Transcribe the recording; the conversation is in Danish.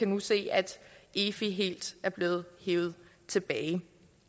nu se at efi helt er blevet hevet tilbage